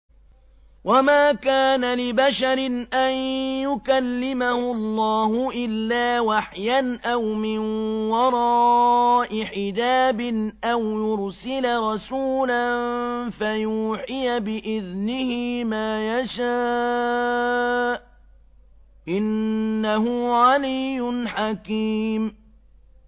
۞ وَمَا كَانَ لِبَشَرٍ أَن يُكَلِّمَهُ اللَّهُ إِلَّا وَحْيًا أَوْ مِن وَرَاءِ حِجَابٍ أَوْ يُرْسِلَ رَسُولًا فَيُوحِيَ بِإِذْنِهِ مَا يَشَاءُ ۚ إِنَّهُ عَلِيٌّ حَكِيمٌ